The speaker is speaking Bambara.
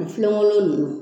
An filen kolon ninnu